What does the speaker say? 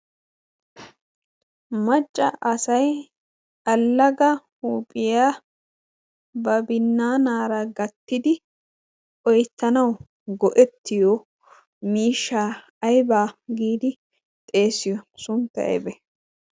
Macca asay allaga huuphiyaa ba binnaanaara gattidi oyttanau go'ettiyo miishsha aybaa giidi xeessiyo? Suntta aybe?